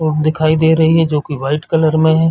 और दिखाई दे रही है जोकि व्हाइट कलर में हैं।